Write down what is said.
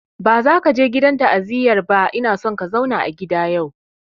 Ba za ka je gidan ta'aziyar ba ina son ka zauna a gida yau!